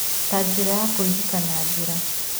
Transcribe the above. Ta njĩra ya kũririkana njĩra.